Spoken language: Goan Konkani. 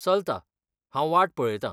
चलता. हांव वाट पळयतां.